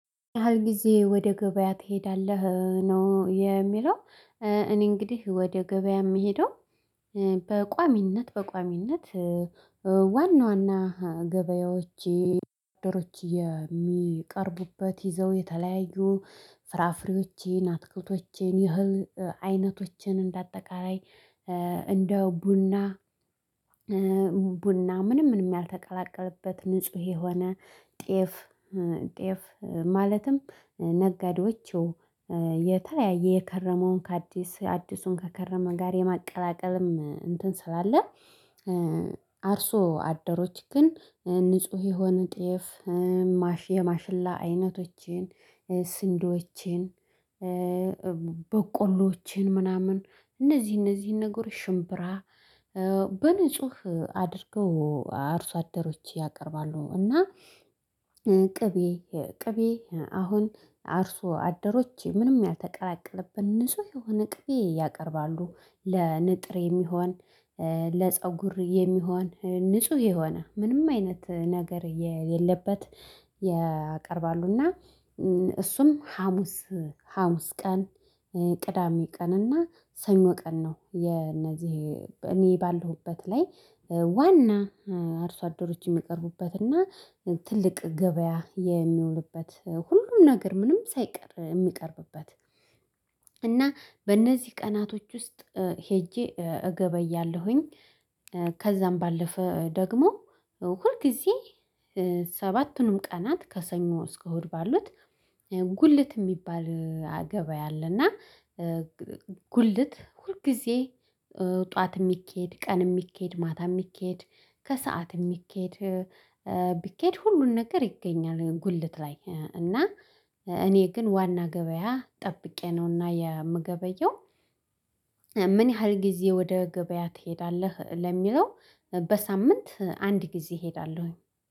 ያህል ጊዜ ወደ ገበያ ትሄዳለህ ነው የሚለው? እኔ እንግዲህ ወደ ገበያ የምሄደው። በቋሚነት በቋሚነት ዋና ዋና ገበያዎቼ ደሮች የሚቀርቡበት ይዘው የተለያዩ ፍራፍሬዎቼን አትክልቶቼን የህል አይነቶችን እንደ አጠቃላይ እንደ ቡና ቡና ምንም ምንም ያልተቀላቀለበት ንጹህ የሆነ ጤፍ ጤፍ ማለትም ነጋዴዎቹ የተለያየ የከረመውን ከአዲስ አዲሱን ከከረመ ጋር የማቀላቀልም እንትን ስላለ። አርሶ አደሮች ግን ንጹህ የሆነ ጥየፍ ማሽ የማሽላ አይነቶቼን ስንዶቼን በቆሎቼን ምናምን እነዚህ እነዚህን ነገሮች ሽምብራ በንጹህ አድርገው አርሶ አደሮች ያቀርባሉ። እና ቅቤ ቅቤ አሁን አርሶ አደሮች ምንም ያልተቀላቀለብን ንጹህ የሆነ ቅቤ ያቀርባሉ ለንጥር የሚሆን ለፀጉር የሚሆን ንጹህ የሆነ ምንም አይነት ነገር የለበት ያቀርባሉና። እሱም ሀሙስ ሀሙስ ቀን ቅዳሜ ቀን እና ሰኞ ቀን ነው የነዚህ እኔ ባለሁበት ላይ ዋና አርሶ አዶሮች የሚቀርቡበትና ትልቅ ገበያ የሚውልበት ሁሉም ነገር ምንም ሳይቀር የሚቀርብበት እና በእነዚህ ቀናቶች ውስጥ ሄጄ እገባያለሁኝ። ከዛም ባለፈ ደግሞ ሁል ጊዜ ሰባቱንም ቀናት ከሰኞ እስከ እሁድ ባሉት ጉልት የሚባል አገበያ አለና። ጉልት ሁልጊዜ ጠዋት የሚኬድ ቀን የሚኬድ ማታ የሚኬድ ከሰአት የሚኬድ ቢኬድ ሁሉን ነገር ይገኛል ጉልት ላይ እና እኔ ግን ዋና ገበያ ጠብቄ ነውና የምገበየው። ምን ያህል ጊዜ ወደ ገበያ ትሄዳለህ ለሚለው? በሳምንት አንድ ጊዜ እሄዳለሁኝ።